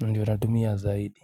Ndiyo natumia zaidi.